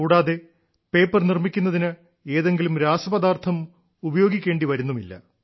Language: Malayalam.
കൂടാതെ പേപ്പർ നിർമ്മിക്കുന്നതിന് ഏതെങ്കിലും രാസപദാർത്ഥം ഉപയോഗിക്കേണ്ടി വരുന്നില്ല